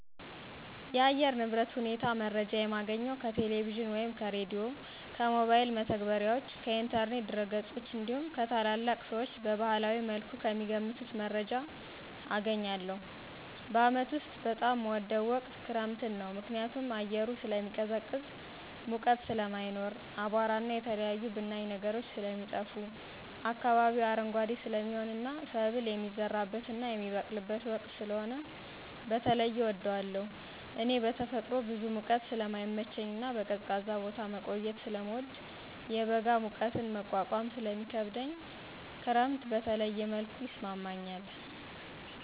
የአየር ንብረት ሁኔታ መረጃ የማገኘው ከቴሌቪዥን ወይም ከሬዲዮ፣ ከሞባይል መተግበሪያዎች፣ ከኢንተርኔት ድረገጾች እንዲሁም ከታላላቅ ሰዎች በባህላዊ መልኩ ከሚገምቱት መረጃ አገኛለሁ። በዓመት ውስጥ በጣም ምወደው ወቅት ክረምትን ነው። ምክንያቱም አየሩ ስለሚቀዘቅዝ ሙቀት ስለማይኖር፣ አቧራና የተለያዩ ብናኝ ነገሮች ስለሚጠፋ፣ አካባቢው አረንጓዴ ስለሚሆንና ሰብል የሚዘራበትና የሚበቅልበት ወቅት ስለሆነ በተለየ እወደዋለሁ። እኔ በተፈጥሮ ብዙ ሙቀት ስለማይመቸኝና በቀዝቃዛ ቦታ መቆየት ስለምወድና የበጋ ሙቀትን መቋቋም ስለሚከብደኝ ክረምት በተለየ መልኩ ይስማማኛል።